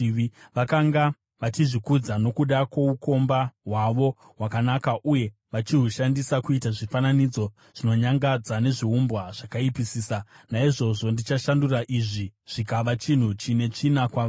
Vakanga vachizvikudza nokuda kwoukomba hwavo hwakanaka uye vachihushandisa kuita zvifananidzo zvinonyangadza nezviumbwa zvakaipisisa. Naizvozvo ndichashandura izvi, zvikava chinhu chine tsvina kwavari.